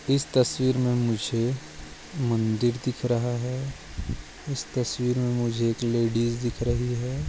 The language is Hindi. इस तस्वीर मे मुझे मंदिर दिख रहा है इस तस्वीर मी मुझे एक लेडीज दिख रही है।